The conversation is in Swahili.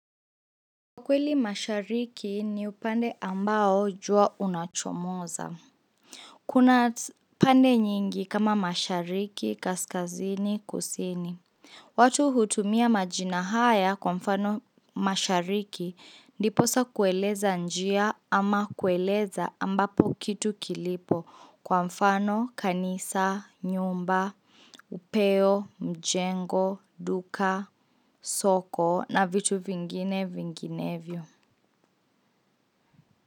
Kwa kweli mashariki ni upande ambao jua unachomoza. Kuna pande nyingi kama mashariki, kaskazini, kusini. Watu hutumia majina haya kwa mfano mashariki ndiposa kueleza njia ama kueleza ambapo kitu kilipo kwa mfano kanisa, nyumba, upeo, mjengo, duka, soko na vitu vingine vinginevyo.